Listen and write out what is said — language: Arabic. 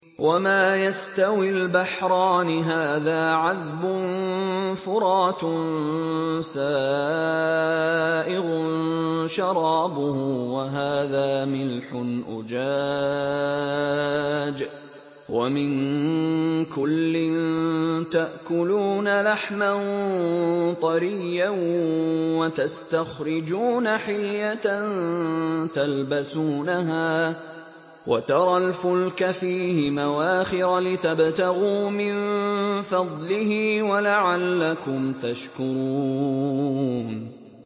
وَمَا يَسْتَوِي الْبَحْرَانِ هَٰذَا عَذْبٌ فُرَاتٌ سَائِغٌ شَرَابُهُ وَهَٰذَا مِلْحٌ أُجَاجٌ ۖ وَمِن كُلٍّ تَأْكُلُونَ لَحْمًا طَرِيًّا وَتَسْتَخْرِجُونَ حِلْيَةً تَلْبَسُونَهَا ۖ وَتَرَى الْفُلْكَ فِيهِ مَوَاخِرَ لِتَبْتَغُوا مِن فَضْلِهِ وَلَعَلَّكُمْ تَشْكُرُونَ